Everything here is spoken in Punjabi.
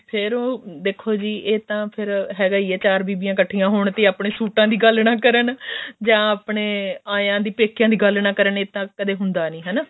ਫ਼ੇਰ ਉਹ ਦੇਖੋ ਜੀ ਇਹ ਤਾਂ ਫ਼ੇਰ ਹੈਗਾ ਹੀ ਆ ਚਾਰ ਬੀਬੀਆਂ ਇੱਕਠੀਆਂ ਹੋਣ ਤੇ ਆਪਣੇ ਸੁੱਟਾ ਦੀ ਗੱਲ ਨਾ ਕਰਨ ਜਾਂ ਆਪਣੇ ਆਇਆਂ ਦੀ ਪੇਕਿਆਂ ਦੀ ਗੱਲ ਨਾ ਕਰਨ ਇਹ ਤਾਂ ਕਦੇ ਹੁੰਦਾ ਨੀ ਹਨਾ